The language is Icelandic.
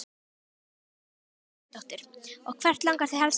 Karen Kjartansdóttir: Og hvert langar þig helst að fara?